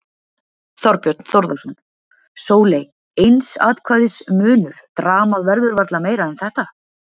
Þorbjörn Þórðarson: Sóley, eins atkvæðis munur, dramað verður varla meira en þetta?